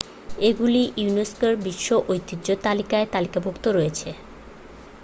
এগুলি ইউনেস্কোর বিশ্ব ঐতিহ্য তালিকায় তালিকাভুক্ত রয়েছে